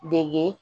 Dege